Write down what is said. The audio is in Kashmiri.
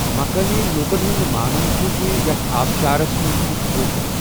مُقٲمی لوٗکَن ہُنٛد مانُن چھُ زِ یَتھ آبشارس منز چھُ کھۄژُن۔